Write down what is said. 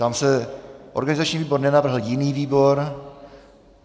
Ptám se - organizační výbor nenavrhl jiný výbor.